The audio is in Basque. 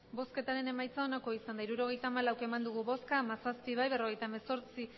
emandako botoak hirurogeita hamalau bai hamazazpi ez berrogeita hemezortzi